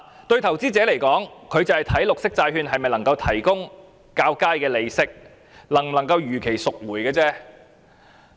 對投資者而言，他們只關心綠色債券能否提供較高利息、能否如期贖回而已。